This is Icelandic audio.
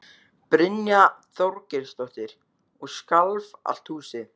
Brynja Þorgeirsdóttir: Og skalf allt húsið?